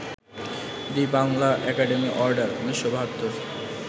the Bangla Academy Order, ১৯৭২